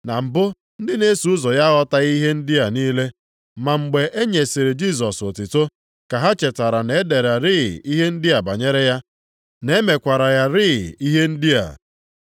Na mbụ ndị na-eso ụzọ ya aghọtaghị ihe ndị a niile. Ma mgbe e nyesịrị Jisọs otuto, ka ha chetara na-edererị ihe ndị a banyere ya, na e mekwara ya rịị ihe ndị a.